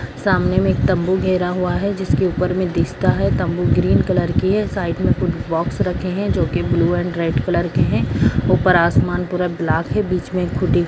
सामने तंबू गेरा हुआ है जिस के उपर में दिखता है तम्बू ग्रीन कलर की है साइड में कुछ बॉक्स रखे है जो की ब्लू एंड रेड कलर के है ऊपर आसमान पूरा ब्लॉक है।